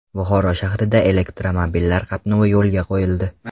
Buxoro shahrida elektromobillar qatnovi yo‘lga qo‘yildi.